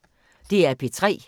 DR P3